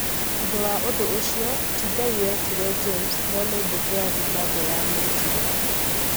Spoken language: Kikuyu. Thutha wa ũndũ ũcio, ti Ngai wetire James, no nĩ mbũtũ ya Zimbabwe yamwĩtire